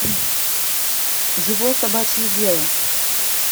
его собачье дело